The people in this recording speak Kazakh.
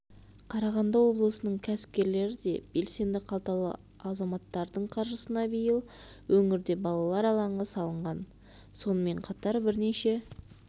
қарағанды облысының кәсіпкерлері де белсенді қалталы азаматтардың қаржысына биыл өңірде балалар алаңы салынған сонымен қатар бірнеше